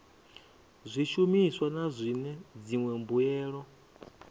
zwishumiswa na zwine dziṅwe mbuelo